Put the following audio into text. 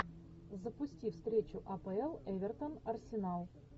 запусти встречу апл эвертон арсенал